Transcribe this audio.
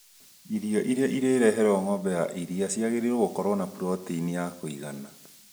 Irio iria irĩreherwo ng'ombe ya iria ciagĩrĩirwo gũkorwo na protainiya kũgana